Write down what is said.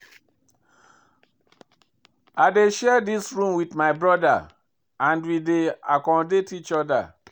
I dey share dis room wit my broda and we dey accommodate each oda.